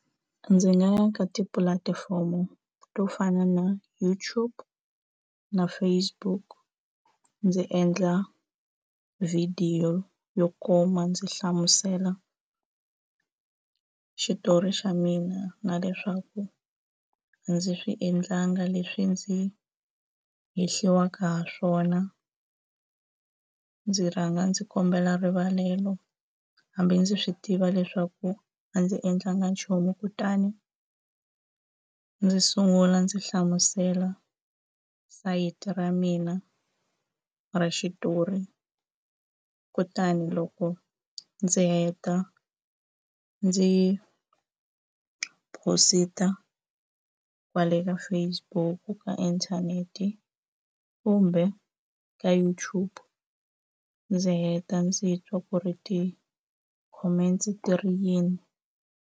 Ndzi nga ya ka tipulatifomo to fana na YouTube na Facebook ndzi endla vhidiyo yo kuma ndzi hlamusela xitori xa mina na leswaku a ndzi swi endlanga leswi ndzi hehliwaka hi swona ndzi rhanga ndzi kombela rivalelo hambi ndzi swi tiva leswaku a ndzi endlanga nchumu kutani ndzi sungula ndzi hlamusela sayiti ra mina ra xitori kutani loko ndzi heta ndzi phosita kwale ka Facebook ka inthanete kumbe ka YouTube ndzi heta ndzi twa ku ri ti-comments ti ri yini.